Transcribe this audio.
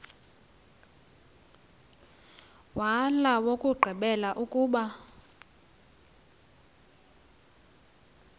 wala owokugqibela ukuba